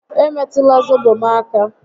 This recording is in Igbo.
E metụla zobo m aka!